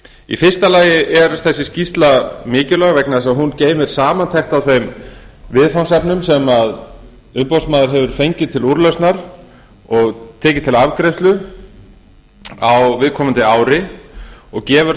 í fyrsta lagi er þessi skýrsla mikilvæg vegna þess að hún geymir samantekt af þeim viðfangsefnum sem umboðsmaður hefur fengið til úrlausnar og tekið til afgreiðslu á viðkomandi ári og gefur